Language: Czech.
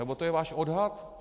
Nebo to je váš odhad?